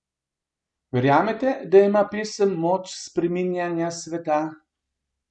Verjamete, da ima pesem moč spreminjanja sveta?